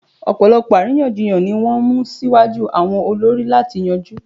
Ọ̀pọ̀lọpọ̀ àríyànjiyàn ni wọ́n mú síwájú àwọn olórí láti yanjú